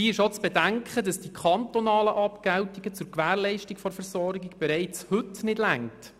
Dabei ist auch zu bedenken, dass die kantonalen Abgeltungen zur Gewährleistung der Versorgung bereits heute nicht ausreichen.